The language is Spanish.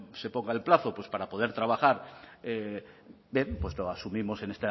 se ponga el plazo pues para poder trabajar bien pues lo asumimos en